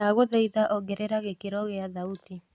ndagũthaĩtha ongerera gĩkĩro gia thauti